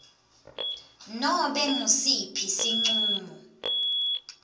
nobe ngusiphi sincumo